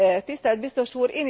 Tisztelt biztos úr!